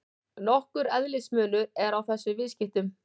Nokkur eðlismunur er á þessum viðskiptum.